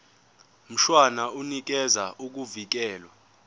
mshwana unikeza ukuvikelwa